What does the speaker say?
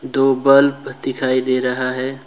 दो बल्ब दिखाई दे रहा है।